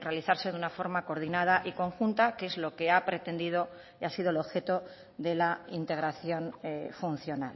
realizarse de una forma coordinada y conjunta que es lo que ha pretendido y ha sido el objeto de la integración funcional